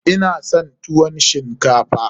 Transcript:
Ina son tuwon shinkafa.